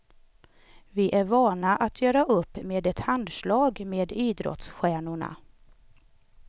Vi är vana att göra upp med ett handslag med idrottsstjärnorna.